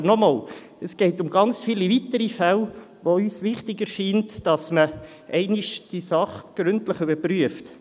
Aber noch einmal: Es geht um ganz viele weitere Fälle, bei denen es uns wichtig erscheint, diese Sache einmal gründlich zu überprüfen.